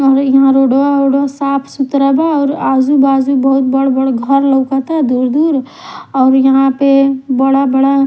इहाँ रोड वा ओडवा साफ सुथरा बा और आजू बाजू बहुत बड़ा घर लौकता दूर दूर बाऔर यहाँ पे बड़ा बड़ा--